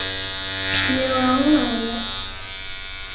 Mjög ánægður með mig.